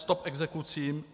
Stop exekucím!